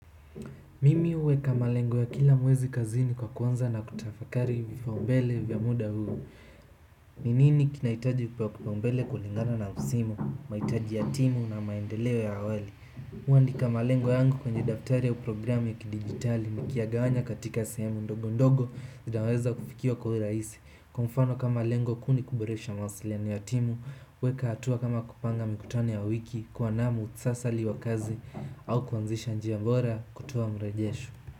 Mimi huweka malengo ya kila mwezi kazini kwa kuanza na kutafakari vipao mbele vya muda huu ni nini kinahitaji kupewa kipao mbele kulingana na msimu, mahitaji ya timu na maendeleo ya awali mimi huandika malengo yangu kwenye daftari au programu ya kidigitali niki yagawanya katika sehemu ndogo ndogo zinaweza kufikiwa kwa urahisi. Kwa mfano kama lengo kuu ni kuboresha mawasiliano ya timu kueka hatua kama kupanga mikutano ya wiki, kuwa na muktasari wa kazi au kuanzisha njia bora kutoa mrejesho.